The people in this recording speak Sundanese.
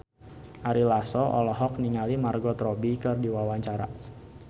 Ari Lasso olohok ningali Margot Robbie keur diwawancara